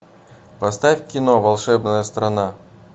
поставь кино волшебная страна